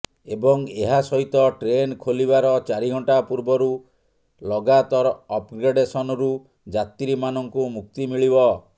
ଏବଂ ଏହା ସହିତ ଟ୍ରେନ ଖୋଲିବାର ଚାରିଘଣ୍ଟା ପୂର୍ବରୁ ଲଗାତର ଅପଗ୍ରେଡ଼ସନରୁ ଯାତ୍ରୀମାନଙ୍କୁ ମୁକ୍ତି ମିଳିବ